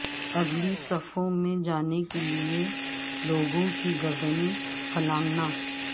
اگلی صفوں میں جانے کے لئے لوگوں کی گردنیں پھلانگنا